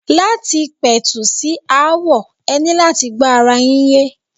Láti pẹ̀tù sí aáwọ̀, e ní láti gbọ́ ara yín yé.